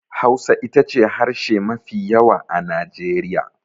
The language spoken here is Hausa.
Hausa ita ce harshe mafi yawa a Najeriya.